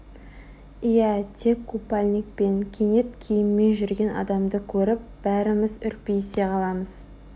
иә тек қупальникпен кенет киіммен жүрген адамды көріп бәріміз үрпиісе қаламыз